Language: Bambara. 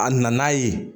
A nana ye